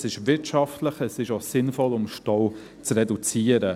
Es ist wirtschaftlich, es ist auch sinnvoll, um Stau zu reduzieren.